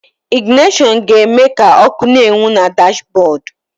Ịgịnashọnụ ga-eme ka ọ́kụ́ na-enwu na dashbọọdụ.